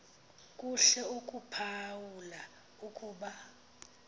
kuhle ukuphawula ukuba